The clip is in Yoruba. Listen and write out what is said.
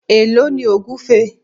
Èló ni ògúfe?